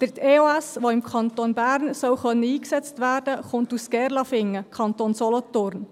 Die EOS, die im Kanton Bern eingesetzt werden können soll, kommt aus Gerlafingen, Kanton Solothurn.